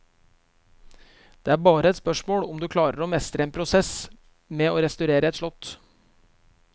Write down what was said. Det er bare et spørsmål om å klare å mestre en prosess med å restaurere et slott.